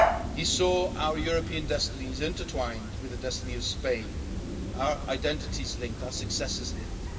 He saw our European destiny as intertwined with the destiny of Spain, our identities linked, and our successes linked.